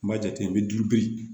N b'a jate n be